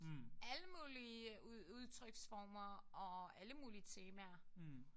Alle mulige udtryksformer og alle mulige temaer